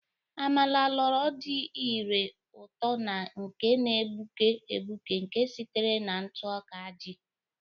Amala, loro dị ire ụtọ na nke na-egbuke egbuke nke sitere na ntụ ọka ji.